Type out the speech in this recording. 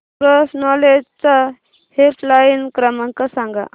cross knowledge चा helpline क्रमांक सांगा